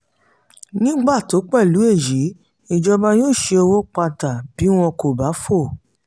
ní pàtó pẹ̀lú èyí ìjọba yóò șe owó padà bí wọn kò bá fò.